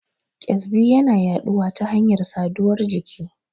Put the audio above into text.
ƙyazbi yana yaɗuwa ta hanyar saduwar jiki.